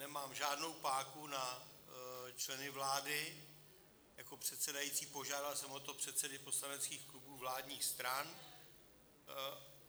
Nemám žádnou páku na členy vlády jako předsedající, požádal jsem o to předsedy poslaneckých klubů vládních stran.